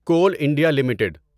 cool India limited